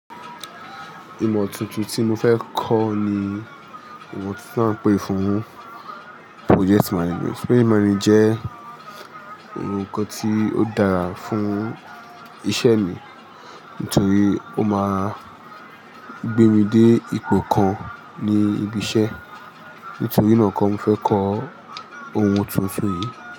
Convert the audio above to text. Ìmọ̀ tuntun tí mo fẹ́ kọ́ ni ìmọ tuntun ta ń pè fún Project Management. Project Management jẹ́ ohun kan tí ó dára fún iṣẹ́ mi, nítorí ó máa gbé mi dé ipò kan ní ibi iṣẹ́. Nítorí náà kọ́ mo fẹ́ kọ́ ohun tuntun yìí.